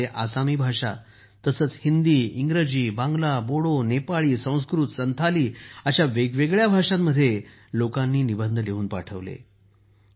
ह्या मध्ये आसामी भाषा तसेच हिंदी इंग्रजी बांगला बोडो नेपाळी संस्कृत संथाली अशा वेगवेगळ्या भाषांमध्ये लोकांनी निबंध पाठवले आहेत